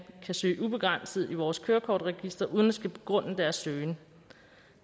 kan søge ubegrænset i vores kørekortregister uden at skulle begrunde deres søgen